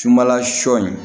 Sunbala sɔ in